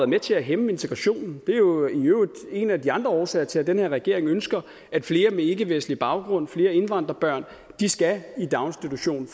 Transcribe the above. med til at hæmme integrationen det er jo i øvrigt en af de andre årsager til at den her regering ønsker at flere med ikkevestlig baggrund flere indvandrerbørn skal i daginstitution